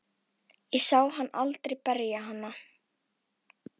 Ég sá hann aldrei berja hana.